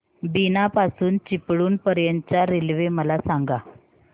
बीना पासून चिपळूण पर्यंत च्या रेल्वे मला सांगा